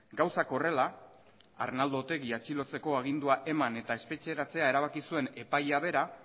gauzak horrela arnaldo otegi atxilotzeko agindua eman eta espetxeratzea erabaki zuen epailea bera